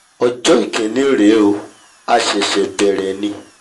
ọjọ́ ìkíní rèé o a ṣẹ̀ṣẹ̀ bẹ̀rẹ̀ bẹ̀rẹ̀